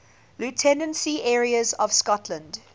lieutenancy areas of scotland